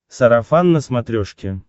сарафан на смотрешке